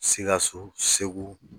Sikaso Segu